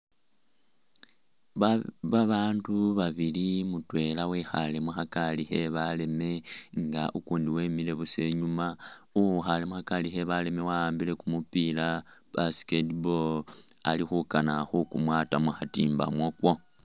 Ba babaandu babili mutwela wekhaale mu khagari khe baleme nfa ukuundi wemile busa inyuuma. Uwikhaale mu khagari khe baleme wa'ambile kumupiila basket ball, ali khukana khukumwata mu khatimba mwako.